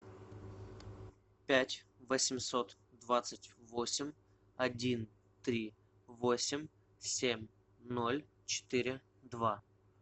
пять восемьсот двадцать восемь один три восемь семь ноль четыре два